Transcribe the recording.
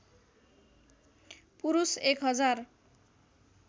पुरुष एक हजार